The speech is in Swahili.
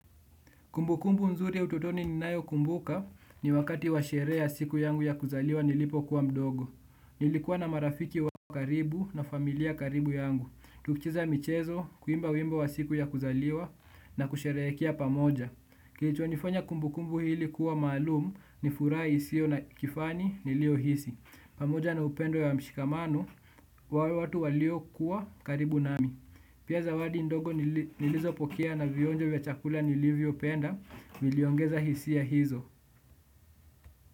Kumbukumbu nzuri ya utotoni ninayokumbuka ni wakati wa sherehe ya siku yangu ya kuzaliwa nilipokuwa mdogo. Nilikuwa na marafiki wa karibu na familia karibu yangu. Tukicheza michezo, kuimba wimbo wa siku ya kuzaliwa na kusherehekea pamoja. Kilichonifanya kumbukumbu ili kuwa maalum ni furaha isiyo na kifani niliohisi. Pamoja na upendo ya mshikamano, wa watu walio kuwa karibu nami. Pia zawadi ndogo nilizopokea na vionjo vya chakula nilivyopenda, niliongeza hisia hizo.